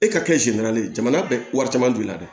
E ka kɛ ye jamana bɛ wari caman don i la dɛ